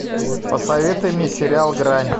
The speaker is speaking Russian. посоветуй мне сериал грань